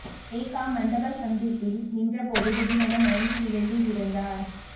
மேக்காமண்டபம் சந்திப்பில் நின்ற போது திடீரென மயங்கி விழுந்து இறந்தார்